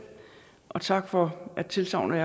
og tak for tilsagnet